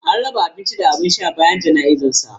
An raba abinci da abin sha bayan jana'izar sa.